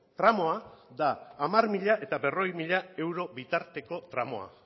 tramua da diez mil eta cuarenta mil euro bitarteko tramua